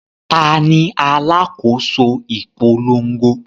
Ta ni alákòóso ìpolongo?